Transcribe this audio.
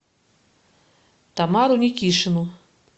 тамару никишину